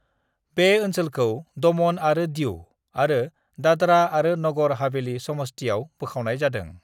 बे ओनसोलखौ दमन आरो दीउ आरो दादरा आरो नगर हवेलीनि समस्तियाव बोखावनाय जादों।